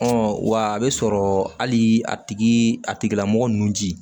wa a bɛ sɔrɔ hali a tigi a tigilamɔgɔ nun ci